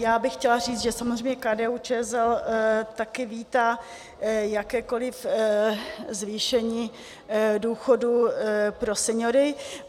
Já bych chtěla říct, že samozřejmě KDU-ČSL taky vítá jakékoliv zvýšení důchodů pro seniory.